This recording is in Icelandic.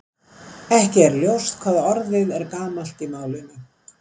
Ekki er ljóst hvað orðið er gamalt í málinu.